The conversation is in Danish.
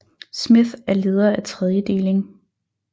Smith er leder af Tredje deling